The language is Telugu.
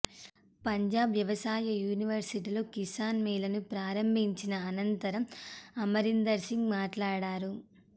పంజాబ్ వ్యవసాయ యూనివర్సిటీలో కిసాన్ మేళాను ప్రారంభించిన అనంతరం అమరీందర్సింగ్ మాట్లాడారు